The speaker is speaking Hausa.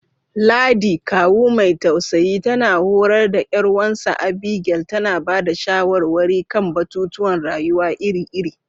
Ladi, kawu mai tausayi, tana horar da ’yar wansa Abigail, tana ba da shawarwari kan batutuwan rayuwa iri-iri.